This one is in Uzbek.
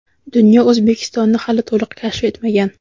dunyo O‘zbekistonni hali to‘liq kashf etmagan.